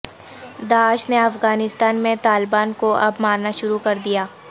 داعش نےافغانستان میں طالبان کواب مارنا شروع کر دیا